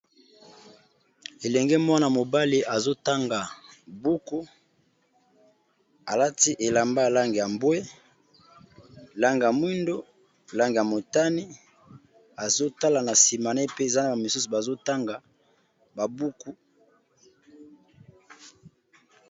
Elenge mwana mobali azo tanga buku. Alati elamba ya langi ya mbwe, langi ya mwindo, langi ya motani, azo tala na nsima ne pe eza na ba misusu bazo tanga ba buku.